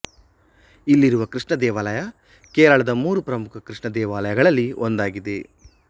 ಇಲ್ಲಿರುವ ಕೃಷ್ಣ ದೇವಾಲಯ ಕೇರಳದ ಮೂರು ಪ್ರಮುಖ ಕೃಷ್ಣ ದೇವಾಲಯಗಳಲ್ಲಿ ಒಂದಾಗಿದೆ